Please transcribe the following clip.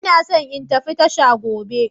Ina so in tafi tasha gobe.